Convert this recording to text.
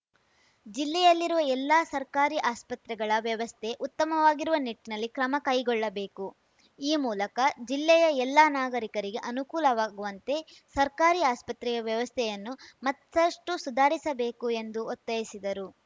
ಜಿಲ್ಲೆಯಲ್ಲಿರುವ ಎಲ್ಲಾ ಸರ್ಕಾರಿ ಆಸ್ಪತ್ರೆಗಳ ವ್ಯವಸ್ಥೆ ಉತ್ತಮವಾಗಿರುವ ನಿಟ್ಟಿನಲ್ಲಿ ಕ್ರಮ ಕೈಗೊಳ್ಳಬೇಕು ಈ ಮೂಲಕ ಜ್ಲಿಲೆಯ ಎಲ್ಲಾ ನಾಗರೀಕರಿಗೆ ಅನುಕೂಲವಾಗುವಂತೆ ಸರ್ಕಾರಿ ಆಸ್ಪತ್ರೆಯ ವ್ಯವಸ್ಥೆಯನ್ನು ಮತ್ತಷ್ಟುಸುಧಾರಿಸಬೇಕು ಎಂದು ಒತ್ತಾಯಿಸಿದರು